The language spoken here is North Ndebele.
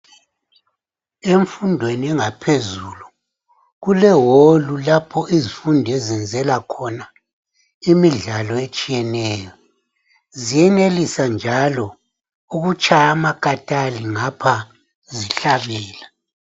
Emfundweni engaphezulu kule"hall" lapho izifundi ezenzela khona imidlalo etshiyeneyo. Zenelisa njalo ukutshaya amakatali ngapha zihlabela.